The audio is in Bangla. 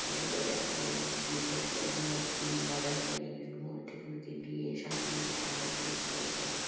তৈরী করে রাখেন জেসস -এর মূর্তি মাদার মেরি -র মূর্তি টুর্তি দিয়ে সাজিয়ে সানডে করে প্রে করে।